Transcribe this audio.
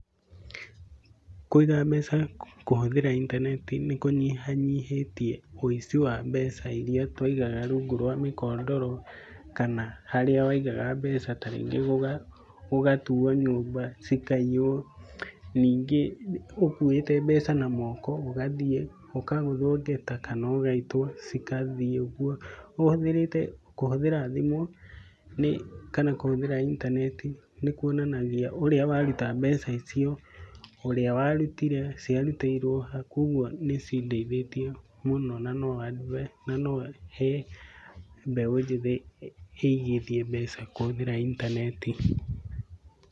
Kũiga mbeca kũhũthĩra intaneti nĩkũnyihanyihĩtie wĩici wa mbeca iria twaigaga rungu rwa mĩkondoro kana harĩa waigaga mbeca tarĩngĩ gũgatuo nyũmba cikaiywo. Ningĩ, ũkuĩte mbeca na moko, ũgathie ũkagũthwo ngeta kana ũgaitwo, cigathiĩ ũgwo. Ũhũthĩrĩte, kũhũthĩra thimũ nĩ, kana kũhũthĩra intaneti nĩkwonanagia ũrĩa waruta mbeca icio, ũrĩa warutire, ciarutĩirwo ha. Kogwo nĩcindeithĩtie mũno nanohe mbeũ njĩthĩ, ĩigithie mbeca kũhũthĩra intaneti.